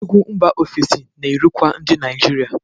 Egwu mba ofesi na-erukwa ndị Naijiria.